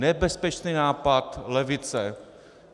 Nebezpečný nápad levice.